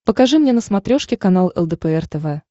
покажи мне на смотрешке канал лдпр тв